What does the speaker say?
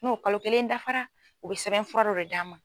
N'u kalo kelen dafara u bɛ sɛbɛnfɔra dɔ de d'an ma.